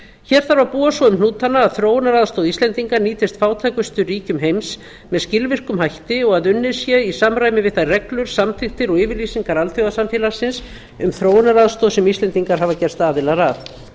hér þarf að búa svo um hnútana að þróunaraðstoð íslendinga nýtist fátækustu ríkjum heims með skilvirkum hætti og að unnið sé í samræmi við þær reglur samþykktir og yfirlýsingar alþjóðasamfélagsins um þróunaraðstoð sem íslendingar hafa gerst aðilar að